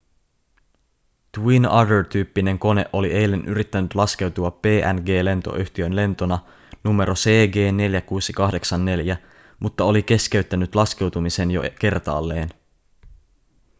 twin otter tyyppinen kone oli eilen yrittänyt laskeutua png-lentoyhtiön lentona numero cg4684 mutta oli keskeyttänyt laskeutumisen jo kertaalleen